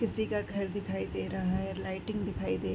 किसी का घर दिखाई दे रहा हैलाइटिंग दिखाई दे --